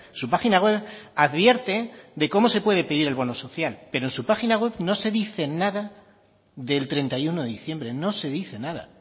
su página web advierte de cómo se puede pedir el bono social pero en su página web no se dice nada del treinta y uno de diciembre no se dice nada